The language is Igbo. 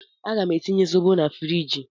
Aga m etinye zobo na friji.